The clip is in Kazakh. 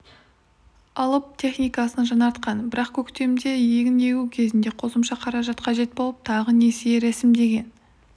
алып техникасын жаңартқан бірақ көктемде егін егу кезінде қосымша қаражат қажет болып тағы несие рәсімдеген